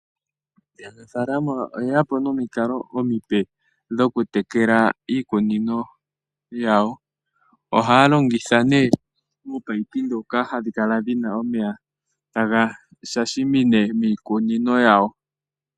Aanafaalama oye ya po nomikalo omipe dhokutekela iikunino yawo. Ohaa longitha nee oominino ndhoka hadhi kala dhina omeya taga shashamine miikunino yawo.